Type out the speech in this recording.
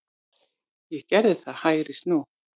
Ég gerði það, hægri snú.